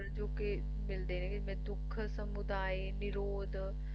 ਜੋ ਕੇ ਮਿਲਦੇ ਨੇ ਦੁੱਖ ਸਮੁਦਾਇ ਨਿਰੋਧ